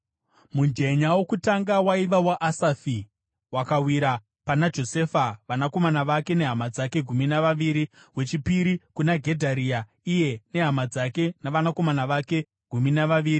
Mujenya wokutanga waiva waAsafi, wakawira pana Josefa, vanakomana vake nehama dzake—gumi navaviri; wechipiri kuna Gedharia, iye nehama dzake navanakomana vake—gumi navaviri;